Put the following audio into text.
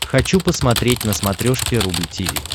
хочу посмотреть на смотрешке рубль ти ви